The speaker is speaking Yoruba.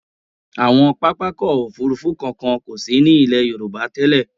Àwọn pápákọ̀ òfurufú kankan kò sí ní ilẹ̀ Yorùbá tẹ́lẹ̀.